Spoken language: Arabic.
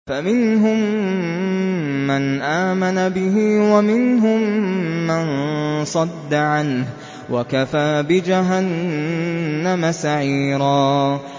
فَمِنْهُم مَّنْ آمَنَ بِهِ وَمِنْهُم مَّن صَدَّ عَنْهُ ۚ وَكَفَىٰ بِجَهَنَّمَ سَعِيرًا